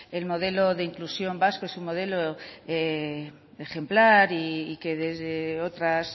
el modelo de inclusión vasco es un modelo ejemplar y que desde otras